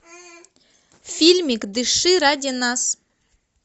фильмик дыши ради нас